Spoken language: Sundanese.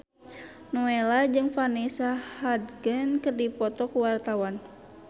Nowela jeung Vanessa Hudgens keur dipoto ku wartawan